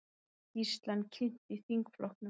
Skýrslan kynnt í þingflokkum